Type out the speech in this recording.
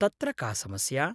तत्र का समस्या।